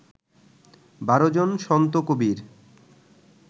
বারো জন সন্ত কবির